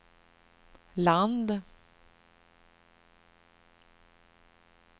land